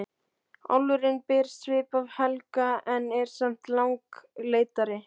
Álfurinn ber svip af Helga en er samt langleitari.